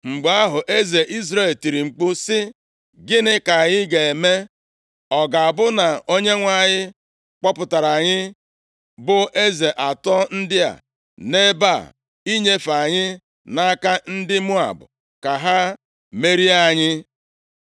Mgbe ahụ, eze Izrel tiri mkpu sị, “Gịnị ka anyị ga-eme? Ọ ga-abụ na Onyenwe anyị kpọpụtara anyị bụ eze atọ ndị a, nʼebe a, inyefe anyị nʼaka ndị Moab, ka ha merie anyị?”